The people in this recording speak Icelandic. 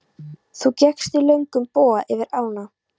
Þú gekkst í löngum boga yfir ána.